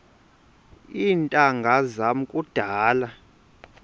iintanga zam kudala